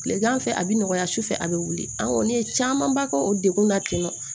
Tilegan fɛ a bɛ nɔgɔya sufɛ a bɛ wuli an kɔ ne ye camanba kɛ o degun na tentɔ